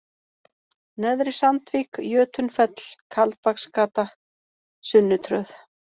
Neðri Sandvík, Jötunfell, Kaldbaksgata, Sunnutröð